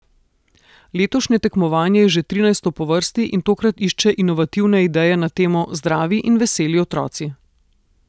Letošnje tekmovanje je že trinajsto po vrsti in tokrat išče inovativne ideje na temo Zdravi in veseli otroci.